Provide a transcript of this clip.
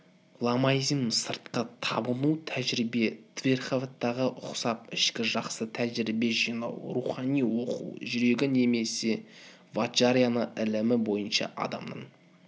ламаизмнің сырткы табыну тәжірибесі тхеравадаға ұқсап ішкі жақсы тәжірибе жинау рухани оқу жүрегі немесе ваджараяна ілімі бойынша адамның